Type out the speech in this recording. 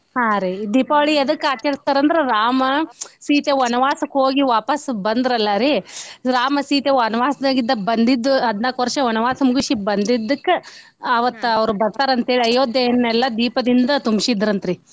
ಹಾ ರಿ ಈ ದೀಪಾವಳಿ ಎದಕ್ಕ ಆಚರಸ್ತಾರಂದ್ರ ರಾಮಾ ಸೀತೆ ವನ್ವಾಸಕ್ಕ ಹೋಗಿ ವಾಪಸ್ ಬಂದ್ರಲ್ಲಾರಿ ರಾಮಾ ಸೀತೆ ವನ್ವಾಸ್ದಾಗಿಂದ ಬಂದಿದ್ದ ಹದ್ನಾಲ್ಕ ವರ್ಷ ವನ್ವಾಸಾ ಮೂಗ್ಸಿ ಬಂದಿದಕ್ಕ ಅವತ್ತ ಅವ್ರ ಬರ್ತಾರ ಅಂತೇಳಿ ಅಯೋಧ್ಯೆಯನ್ನೆಲ್ಲಾ ದೀಪದಿಂದ